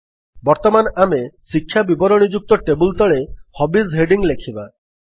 ବର୍ତ୍ତମାନ ଆମେ ଶିକ୍ଷା ବିବରଣଯୁକ୍ତ ଟେବଲ୍ ତଳେ ହବିଜ୍ ହେଡିଙ୍ଗ୍ ଲେଖିବା